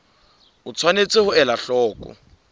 o tshwanetse ho ela hloko